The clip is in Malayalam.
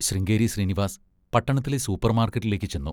ശൃംഗേരി ശ്രീനിവാസ് പട്ടണത്തിലെ സൂപ്പർമാർക്കറ്റിലേക്ക് ചെന്നു....